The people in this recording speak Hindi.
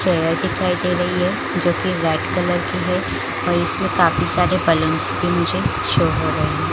चेयर दिखाई दे रही है जो की वाइट कलर की है और इसमें काफी सारे पलांग्स भी मुझे शो हो रही है --